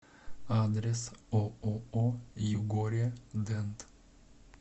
адрес ооо югория дент